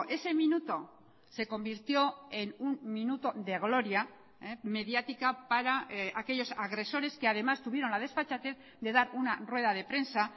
ese minuto se convirtió en un minuto de gloria mediática para aquellos agresores que además tuvieron la desfachatez de dar una rueda de prensa